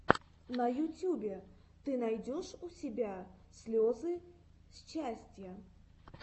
на ютюбе ты найдешь у себя слезы счастья